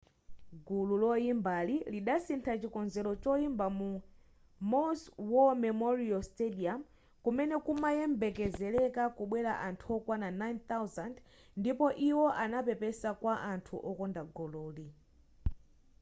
gulu loyimbali lidasintha chikonzero choimba ku maui's war memorial stadium kumene kumayembekezeleka kubwela anthu okwana 9,000 ndipo iwo anapepesa kwa anthu okonda gululi